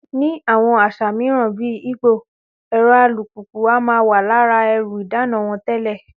Ní àwọn àṣà mìíràn bí Ìgbò, ẹ̀rọ alùpùpù a máa wà lára ẹrù ìdána wọn tẹ́lẹ̀